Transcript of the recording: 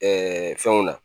Ɛɛ fɛnw na